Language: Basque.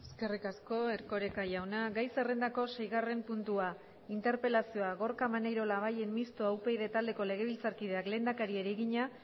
eskerrik asko erkoreka jauna gai zerrendako seigarren puntua interpelazioa gorka maneiro labayen mistoa upyd taldeko legebiltzarkideak lehendakariari egina